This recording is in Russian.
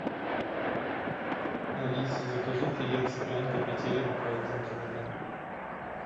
алиса закажи филе цыпленка петелинка один килограмм